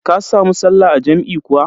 Ka samu sallah a jam'i kuwa?